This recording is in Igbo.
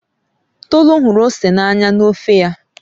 Tolu hụrụ ose n'anya na ofe ya